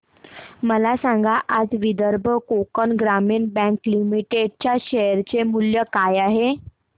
मला सांगा आज विदर्भ कोकण ग्रामीण बँक लिमिटेड च्या शेअर चे मूल्य काय आहे